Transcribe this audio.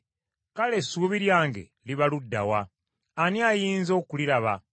kale essuubi lyange liba ludda wa? Ani ayinza okuliraba?